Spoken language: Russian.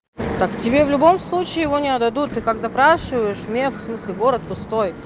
так тебе в любом случае его не отдадут ты как запрашиваешь мех в смысле город пустой